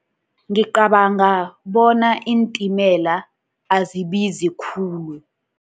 Ngicabanga bona iintimela azibizi khulu.